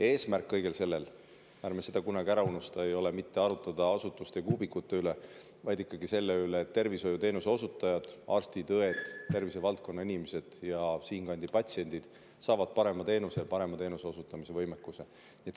Eesmärk kõigel sellel, ärme seda kunagi ära unustame, ei ole mitte arutada asutuste ja kuubikute üle, vaid ikkagi selle üle, et tervishoiuteenuse osutajad, arstid, õed, tervishoiuinimesed ja siinkandi patsiendid saaksid parema teenuse ja parema teenuse osutamise võimekuse.